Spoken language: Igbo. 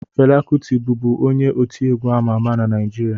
Fela Kụti bụbu onye otiegwu ama ama na Naịjirịa